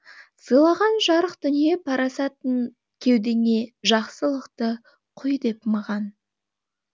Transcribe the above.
сыйлаған жарық дүние парасатын кеудеңе жақсылықты құй деп маған